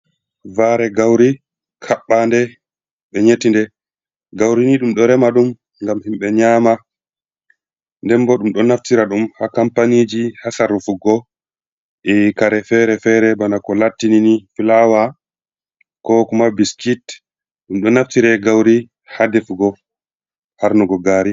Vaare gauri, haɓɓande ɓe nyetinde gaurini ɗum ɗo rema ɗum ngam himɓe nyama, nden bo ɗum ɗo naftira ɗum ha kampaniji ha sarrufugo e kare fere-fere bana ko lattinini fulawa ko kuma biskit ɗum ɗo naftire gauri ha defugo harnugo gaari.